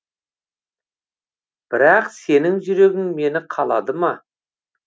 бірақ сенің жүрегің мені қалады ма